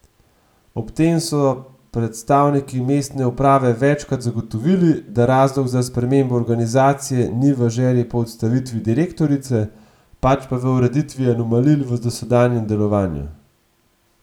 Ob tem so predstavniki mestne uprave večkrat zagotovili, da razlog za spremembo organizacije ni v želji po odstavitvi direktorice, pač pa v ureditvi anomalij v dosedanjem delovanju.